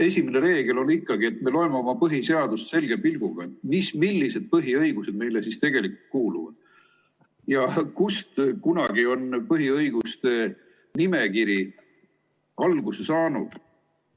Esimene reegel on ikkagi, et me loeme oma põhiseadust selge pilguga, millised põhiõigused meile siis tegelikult kuuluvad ja kust kunagi on põhiõiguste nimekiri alguse saanud.